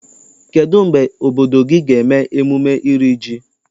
Kedụ mgbe obodo gị ga eme emume iri ji?